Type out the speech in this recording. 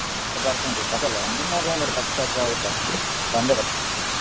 ಏ ಬರ್ತೆನ್ರಿ ನಿಮ್ಮ ಮದ್ವಿ ಅಂದ್ರ ತಪ್ಪ್ಸ್ಯಾಕ ಆಗುತ್ತ ಬಂದೆ ಬರ್ತೆನ.